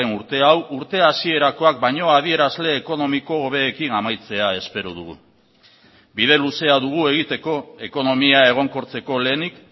urte hau urte hasierakoak baino adierazle ekonomiko hobeekin amaitzea espero dugu bide luzea dugu egiteko ekonomia egonkortzeko lehenik